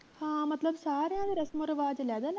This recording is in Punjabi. ਹਾਂ ਤੇ ਮਤਲਬ ਸਾਰੀਆਂ ਦੇ ਰਸਮੋਂ ਰਿਵਾਜ ਲਹਿਦਾ